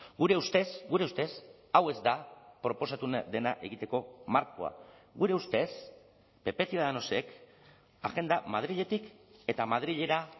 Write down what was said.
gure ustez gure ustez hau ez da proposatu dena egiteko markoa gure ustez pp ciudadanosek agenda madriletik eta madrilera